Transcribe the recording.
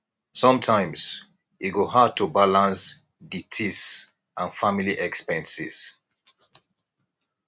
sometimes e go hard to balance tidis and family expenses